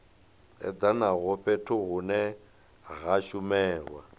edanaho fhethu hune ha shumelwa